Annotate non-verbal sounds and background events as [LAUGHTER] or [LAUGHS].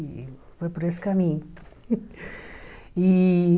E foi por esse caminho. [LAUGHS] E